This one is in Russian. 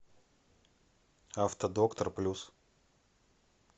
автодоктор плюс